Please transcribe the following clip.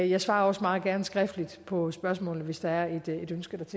jeg svarer også meget gerne skriftligt på spørgsmålet hvis der er et ønske